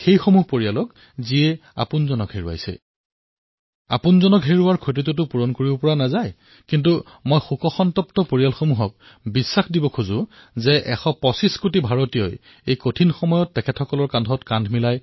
যিসকল পৰিয়ালে তেওঁলোকৰ জীৱন হেৰুৱাইছে জীৱনৰ যি ক্ষতি হৈছে সেয়া পূৰণ কৰাতো সম্ভৱ নহয় কিন্তু সেই শোকসন্তপ্ত পৰিয়ালক বিশ্বাস দিব খুজিছোঁ যে এশ পঁচিশ কোটি ভাৰতীয়ই আপোনালোকৰ এই দুখৰ সময়ত আপোনালোকৰ সমভাগী হৈছে